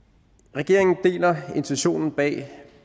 regeringen deler intentionen bag